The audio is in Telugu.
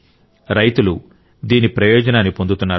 రైతులు దీని ప్రయోజనాన్ని పొందుతున్నారు